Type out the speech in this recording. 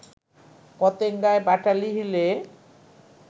পতেঙ্গায়, বাটালি হিলে